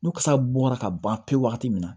Ni kasa bɔra ka ban pewu wagati min na